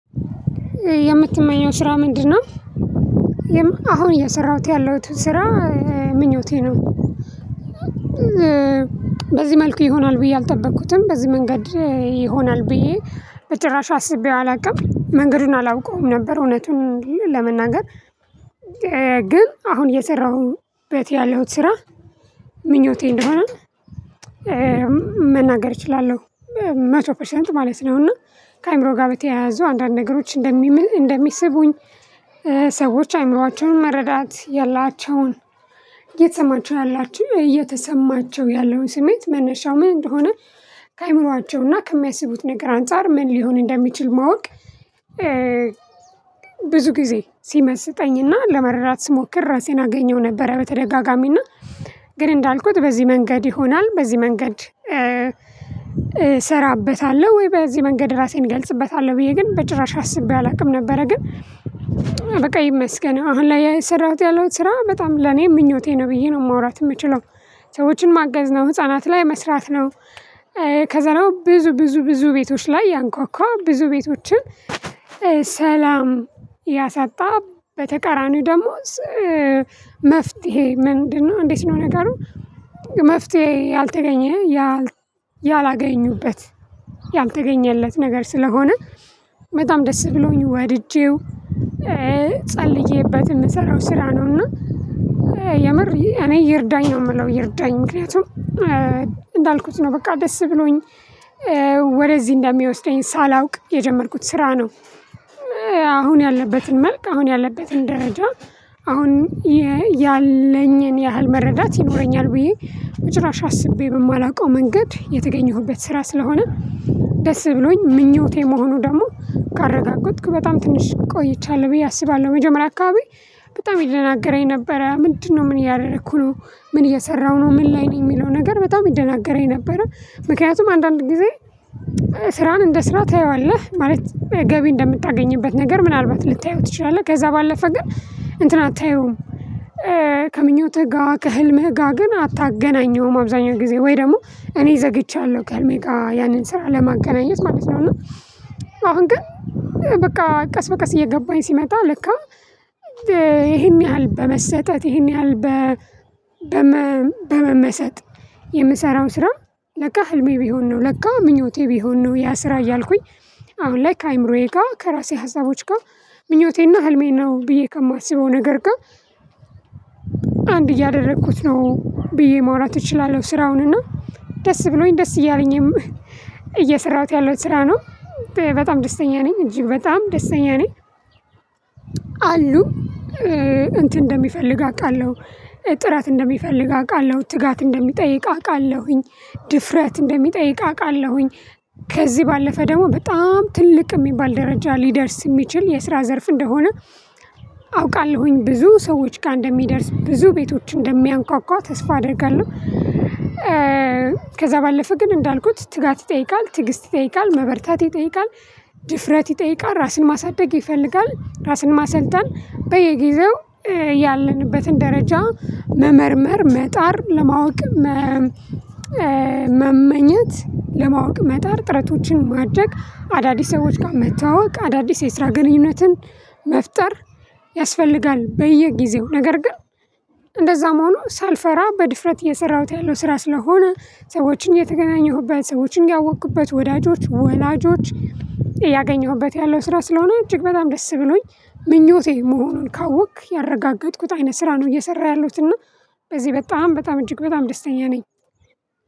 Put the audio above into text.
የምትመኘው ስራ ምንድነው? አሁን እያሰራሁት ያለሁት ስራ ምኞቴ ነው። በዚህ መልኩ ይሆናል ብዬ አልጠበቅኩትም በዚህ መንገድ ይሆናል ብዬ በጭራሽ አስቤው አላውቅም መንገዱን አላውቀውም ነበር እውነቱን ለመናገር። ግን አሁን የሰራሁበት ያለሁት ስራ ምኞቴ እንደሆነ መናገር እችላለሁ መቶ ፐርሰንት ማለት ነው። እና ከአእምሮ ጋር በተያያዙ አንዳንድ ነገሮች እንደሚምን እንደሚስቡኝ ሰዎች አይምሮአቸውን መረዳት ያላቸውን እየተሰማቸው ያላችሁ እየተሰማቸው ያለውን ስሜት መነሻው ምን እንደሆነ ከአእምሮአቸው እና ከሚያስቡት ነገር አንፃር ምን ሊሆን እንደሚችል ማወቅ። ብዙ ጊዜ ሲመስጠኝና ለመረራት ስሞክር ራሴን አገኘው ነበረ። በተደጋጋሚና ግን እንዳልኩት በዚህ መንገድ ይሆናል በዚህ መንገድ። እሰራበታለሁ ወይ በዚህ መንገድ ራሴን እገልጽበታለሁ ብዬ ግን በጭራሽ አስቤ አላውቅም ነበረ። ግን በቃ ይመስገን አሁን ላይ እየሰራሁት ያለሁት ስራ በጣም ለኔ ምኞቴ ነው ብዬ ነው ማውራት የምችለው። ሰዎችን ማገዝ ነው ህፃናት ላይ መስራት ነው። ከዛ ነው ብዙ ብዙ ብዙ ቤቶች ላይ ያንኳኳ ብዙ ቤቶችን። ሰላም ያሳጣ በተቃራኒው ደሞዝ መፍትሄ ምንድነው እንዴት ነው ነገሩ። መፍትሄ ያልተገኘ ያ ያላገኙበት ያልተገኘለት ነገር ስለሆነ በጣም ደስ ብሎኝ ወድጄው። ጸልዬበት የምሰራው ስራ ነው። እና የምር እኔ ይርዳኝ ነው የምለው ይርዳኝ ምክንያቱም። እንዳልኩት ነው በቃ ደስ ብሎኝ ወደዚህ እንደሚወስደኝ ሳላውቅ የጀመርኩት ስራ ነው። አሁን ያለበትን መልክ አሁን ያለበትን ደረጃ አሁን ያለኝን ያህል መረዳት ይኖረኛል ብዬ በጭራሽ አስቤ የማላውቀው መንገድ የተገኘሁበት ስራ ስለሆነ። ደስ ብሎኝ ምኞቴ መሆኑ ደግሞ ካረጋገጥኩ በጣም ትንሽ ቆይቻለሁ ብዬ አስባለሁ። መጀመሪያ አካባቢ በጣም ይደናገረኝ ነበረ ምንድነው? ምን እያደረኩ ነው? ምን እየሰራሁ ነው? ምን ላይ ነው የሚለው? ነገር በጣም ይደናገረኝ ነበረ። ምክንያቱም አንዳንድ ጊዜ ስራን እንደ ስራ ታየዋለህ ማለት ገቢ እንደምታገኝበት ነገር ምናልባት ልታየው ትችላለህ ከዛ ባለፈ ግን እንትን አታየውም። ከምኞትህ ጋር ከህልምህ ጋር ግን አታገናኘውም። አብዛኛው ጊዜ ወይ ደግሞ እኔ ዘግቻለሁ ከልሜው ጋር ያንን ስራ ለማገናኘት ማለት ነው። አሁን ግን። በቃ ቀስ በቀስ እየገባኝ ሲመጣ ልክ ይሄን ያህል በመሰጠት ይሄን ያህል። በመመሰጥ የምሰራው ስራ ለካ ህልሜ ቢሆን ነው። ለካ ምኞቴ ቢሆን ነው። ያ ስራ እያልኩኝ አሁን ላይ ከአእምሮዬ ጋር ከራሴ ሀሳቦች ጋር ምኞቴና ህልሜን ነው ብዬ ከማስበው ነገር ጋር። አንድ እያደረኩት ነው ብዬ ማውራት እችላለሁ። ስራውን እና ደስ ብሎኝ ደስ እያለኝም እየሰራሁት ያለው ስራ ነው። በጣም ደስተኛ ነኝ እጅግ በጣም ደስተኛ ነኝ። አሉ እንትን እንደሚፈልግ አውቃለሁ። ጥራት እንደሚፈልግ አውቃለሁ። ትጋት እንደሚጠይቅ አውቃለሁኝ። ድፍረት እንደሚጠይቅ አውቃለሁኝ። ከዚህ ባለፈ ደግሞ በጣም ትልቅ የሚባል ደረጃ ሊደርስ የሚችል የስራ ዘርፍ እንደሆነ። አውቃለሁኝ ብዙ ሰዎች ጋር እንደሚደርስ ብዙ ቤቶች እንደሚያንኳኳ ተስፋ አደርጋለሁ። ከዛ ባለፈ ግን እንዳልኩት ትጋት ይጠይቃል ትግስት ይጠይቃል መበርታት ይጠይቃል። ድፍረት ይጠይቃል ራስን ማሳደግ ይፈልጋል ራስን ማሰልጠን በየጊዜው። ያለንበትን ደረጃ መመርመር መጣር ለማወቅ። መመኘት ለማወቅ መጣር ጥረቶችን ማድረግ አዳዲስ ሰዎች ጋር መተዋወቅ አዳዲስ የስራ ግንኙነትን መፍጠር ያስፈልጋል። በየጊዜው ነገር ግን። እንደዛ መሆኑ ሳልፈራ በድፍረት እየሰራሁት ያለው ስራ ስለሆነ። ሰዎችን የተገናኘሁበት ሰዎችን ያወቅኩበት ወዳጆች ወላጆች እያገኘሁበት ያለው ስራ ስለሆነ እጅግ በጣም ደስ ብሎኝ። ምኞቴ መሆኑን ካወቅክ ያረጋገጥኩት አይነት ስራ ነው እየሰራ ያሉትና በዚህ በጣም በጣም እጅግ በጣም ደስተኛ ነኝ።